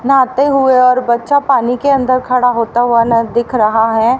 नहाते हुए और बच्चा पानी के अंदर खड़ा होता हुआ न दिख रहा है।